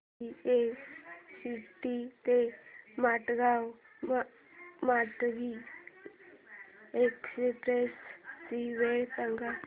CST ते Madgaon Mandovi express ची वेळ सांगा